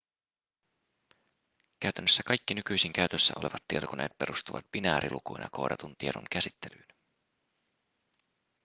käytännössä kaikki nykyisin käytössä olevat tietokoneet perustuvat binäärilukuina koodatun tiedon käsittelyyn